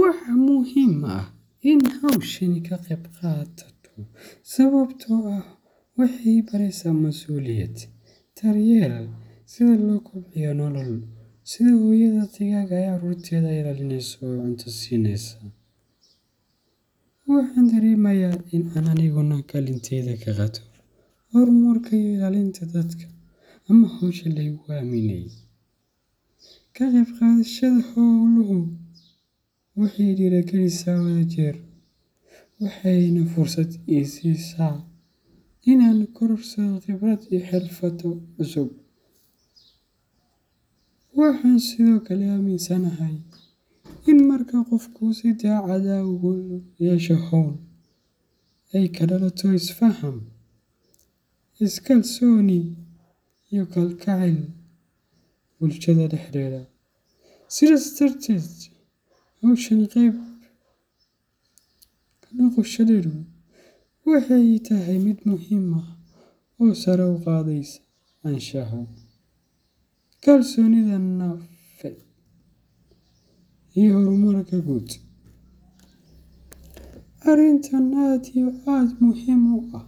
Waxaa muhiim ah in aan hawshan ka qayb qaato sababtoo ah waxay i baraysaa masuuliyad, daryeel, iyo sida loo kobciyo nolol. Sida hooyada digaagga ah ee caruurteeda ilaalinaysa oo cunto siinaysa, waxaan dareemayaa in aan aniguna kaalinteyda ka qaato horumarka iyo ilaalinta dadka ama hawsha la igu aaminay. Ka qayb qaadashada hawluhu waxay dhiirrigelisaa wadajir, waxayna fursad i siisaa in aan kororsado khibrad iyo xirfado cusub. Waxaan sidoo kale aaminsanahay in marka qofku si daacad ah ugu lug yeesho hawl, ay ka dhalato isfaham, iskalsooni, iyo kalgacayl bulshada dhexdeeda ah. Sidaas darteed, hawshan qayb ka noqoshadeedu waxay ii tahay mid muhiim ah oo sare u qaadaysa anshaxa, kalsoonida nafeed, iyo horumarka guud. Arintan oo aad iyo aad muhim u ah